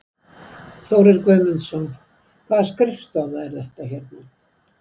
Þórir Guðmundsson: Hvaða skrifstofa er þetta hérna?